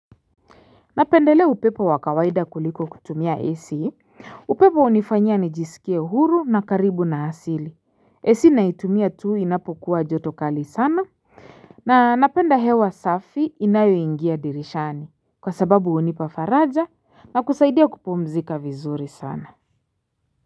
Napendelea upepo wa kawaida kuliko kutumia AC, upepo hunifanya nijisikie huru na karibu na asili. AC naitumia tu inapokuwa joto kali sana. Na napenda hewa safi inayoingia dirishani kwa sababu hunipa faraja na kusaidia kupumzika vizuri sana.